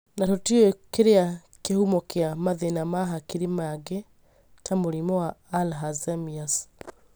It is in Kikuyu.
Na tũtiũĩ kĩrĩa kĩhumo kĩa mathĩna ma hakiri mangĩ ta mũrimũ wa Alzheimer's